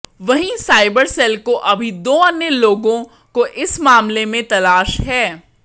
वहीं cyber cell को अभी दो अन्य लोगों को इस मामले में तलाश है